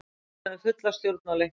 Við höfðum fulla stjórn á leiknum.